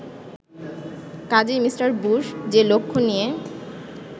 কাজেই Mr Bush যে লক্ষ্য নিয়ে